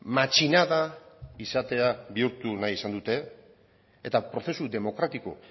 matxinada izatea bihurtu nahi izan dute eta prozesu demokratiko